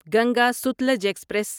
Ganga Sutlej express